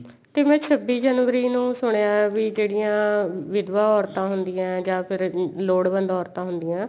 ਤੇ ਮੈਂ ਛੱਬੀ ਜਨਵਰੀ ਨੂੰ ਸੁਣਿਆ ਵੀ ਜਿਹੜੀਆ ਵਿਦਵਾ ਔਰਤਾ ਹੁੰਦੀਆਂ ਜਾਂ ਫੇਰ ਲੋੜਵੰਦ ਔਰਤਾ ਹੁੰਦੀਆਂ